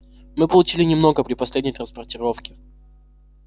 мы получили немного при последней транспортировке